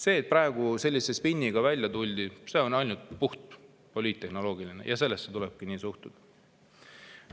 See, et praegu sellise spinniga välja tuldi, on puht poliittehnoloogiline ja sellesse tulebki nii suhtuda.